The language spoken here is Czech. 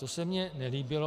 To se mně nelíbilo.